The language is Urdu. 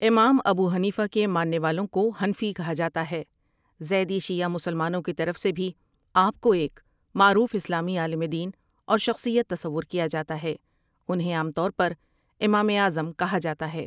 امام ابو حنیفہ کے ماننے والوں کو حنفی کہا جاتا ہے زیدی شیعہ مسلمانوں کی طرف سے بھی آ پ کو ایک معروف اسلامی عالم دین اور شخصیت تصور کیا جا تا ہے انہیں عام طور پر امام اعظم کہا جاتا ہے